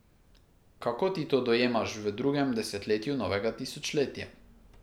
Kako ti to dojemaš v drugem desetletju novega tisočletja?